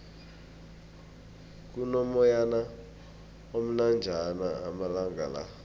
kuno moyana omnanjana amalangala